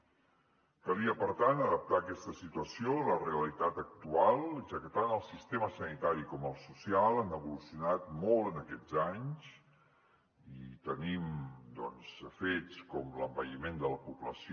calia per tant adaptar aquesta situació a la realitat actual ja que tant el sistema sanitari com el social han evolucionat molt en aquests anys i tenim doncs fets com l’envelliment de la població